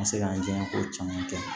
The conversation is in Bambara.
Ka se ka n diyan ko caman kɛ